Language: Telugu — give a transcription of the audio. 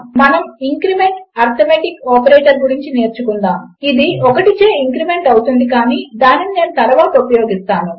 మనము ఇంక్రిమెంట్ అర్థమాటిక్ ఆపరేటర్ గురించి నేర్చుకుందాము ఇది 1 చే ఇంక్రిమెంట్ అవుతుంది కాని దానిని నేను తరువాత ఉపయోగిస్తాను